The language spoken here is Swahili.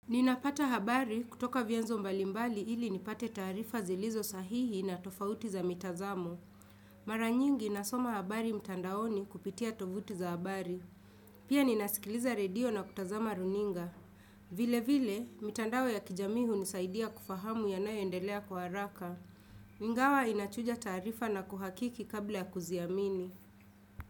Ninapata habari kutoka vyanzo mbalimbali ili nipate taarifa zilizo sahihi na tofauti za mitazamo Mara nyingi nasoma habari mtandaoni kupitia tovuti za habari. Pia ninasikiliza redio na kutazama runinga. Vile vile, mitandao ya kijamii hunisaidia kufahamu ya nayoendelea kwa haraka. Ingawa inachuja taarifa na kuhakiki kabla ya kuziamini.